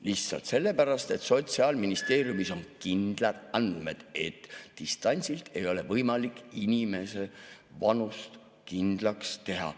Lihtsalt sellepärast, et Sotsiaalministeeriumis on kindlad andmed, et distantsilt ei ole võimalik inimese vanust kindlaks teha.